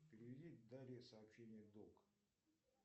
переведи дарье сообщение долг